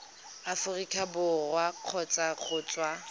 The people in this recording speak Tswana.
aforika borwa kgotsa go tswa